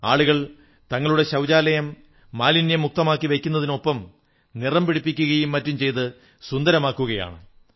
ആളുകൾ തങ്ങളുടെ ശൌചാലയം മാലിന്യമുക്തമാക്കി വയ്ക്കുന്നതിനൊപ്പം നിറം പിടിപ്പിക്കയും മറ്റും ചെയ്ത് സുന്ദരമാക്കുകയാണ്